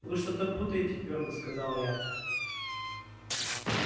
вы что-то путаете твёрдо сказала я